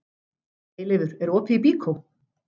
Eyleifur, er opið í Byko?